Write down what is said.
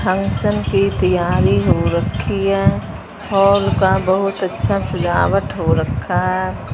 Function की तैयारी हो रखी है। हॉल का बहुत अच्छा सजावट हो रखा है।